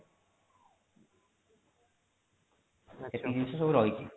ଏଇ ସବୁ ଜିନିଷ ସବୁ ରହିଛି